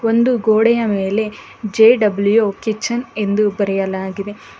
ಒಂದು ಗೋಡೆಯ ಮೇಲೆ ಜೆ ಡಬ್ಲ್ಯು ಕಿಚನ್ ಎಂದು ಬರೆಯಲಾಗಿದೆ.